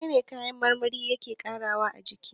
Menene kayan marmari yake ƙarawa a jiki?